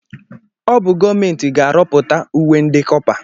Ọ bụ gọọmenti ga-arọpụta uwe ndị kọpa.